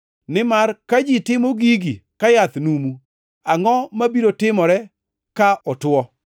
Nimar ka ji timo gigi ka yath numu, angʼo mabiro timore ka otwo?”